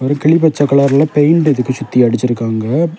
ஒரு கிளிப்பச்சை கலர்ல பெயிண்ட் இதுக்கு சுத்தி அடிச்சிருக்காங்க.